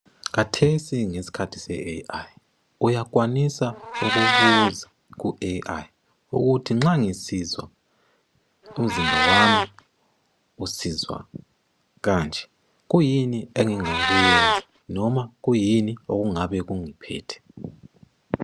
Khathesi ngesikhathi seAI. Uyakwanisa ukubuza kuAI ukuthi nxa ngisizwa umzimba wami usizwa kanje kuyini engingakwenza noma kuyini okungabe kungiphethe.